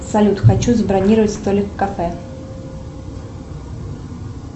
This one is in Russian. салют хочу забронировать столик в кафе